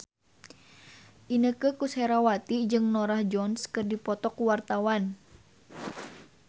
Inneke Koesherawati jeung Norah Jones keur dipoto ku wartawan